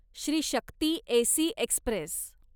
Shri Shakti AC Express